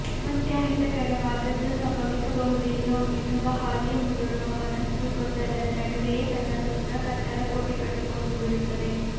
ಮತ್ತೆ ಅಹಿತಕರವಾದದ್ದು ಸಂಭವಿಸಬಹುದೇನೋ ಎನ್ನುವ ಹಾಗೆ ಮುದುಡುವ ಮನಸ್ಸು ಗೊಂದಲದ ನಡುವೆಯೇ ತನ್ನ ಸುತ್ತ ಕತ್ತಲ ಕೋಟೆ ಕಟ್ಟಿಕೊಂಡು ಬಿಡುತ್ತದೆ